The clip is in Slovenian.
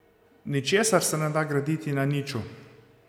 Ničesar se ne da graditi na niču.